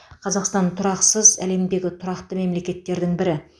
қазақстан тұрақсыз әлемдегі тұрақты мемлекеттердің бірі